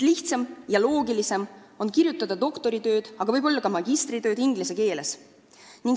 Lihtsam ja loogilisem on kirjutada doktoritööd ja võib-olla ka magistritööd inglise keeles.